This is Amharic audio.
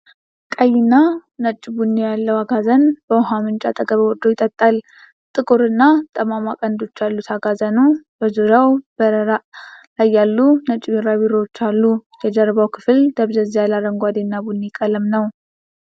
ቀይና ነጭ ቡኒ ያለው አጋዘን በውሃ ምንጭ አጠገብ ወርዶ ይጠጣል። ጥቁር እና ጠማማ ቀንዶች ያሉት አጋዘኑ በዙሪያው በረራ ላይ ያሉ ነጭ ቢራቢሮዎች አሉ። የጀርባው ክፍል ደብዘዝ ያለ አረንጓዴ እና ቡኒ ቀለም ነው።